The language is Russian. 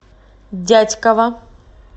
дятьково